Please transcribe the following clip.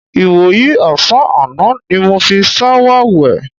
Ìwòyí ò̩sán àná ni mo fi s̩áwà wè̩.